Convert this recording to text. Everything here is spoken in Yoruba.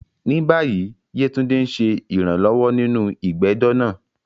Ní báyìí, Yetunde ń ṣe ìrànlọ́wọ́ nínú ìgbẹ́jọ́ náà.